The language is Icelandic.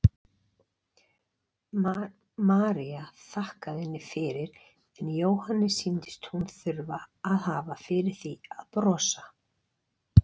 María þakkaði henni fyrir en Jóhanni sýndist hún þurfa að hafa fyrir því að brosa.